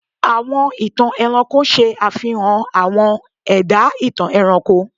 Àwọn ìtàn ẹranko ṣe àfihàn àwọn ẹ̀dá-ìtàn ẹranko.